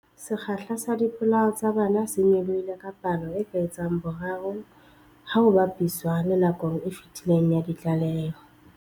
Sekgahla sa dipolao tsa bana se nyolohile ka palo e ka etsang boraro ha ho ba piswa le nakong e fetileng ya ditlaleho.